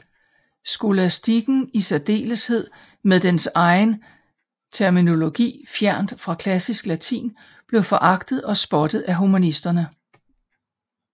Skolastikken i særdeleshed med dens egen terminologi fjernt fra klassisk latin blev foragtet og spottet af humanisterne